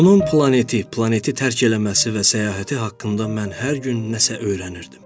Onun planeti, planeti tərk eləməsi və səyahəti haqqında mən hər gün nəsə öyrənirdim.